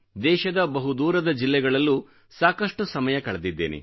ದೇಶದ ಬಹÅದೂರದ ಜಿಲ್ಲೆಗಳಲ್ಲೂ ಸಾಕಷ್ಟು ಸಮಯ ಕಳೆದಿದ್ದೇನೆ